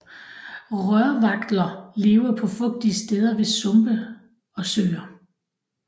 Rørvagtler lever på fugtige steder ved sumpe og søer